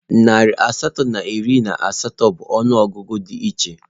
Narị asatọ na iri na asaa bụ ọnụọgụgụ dị iche.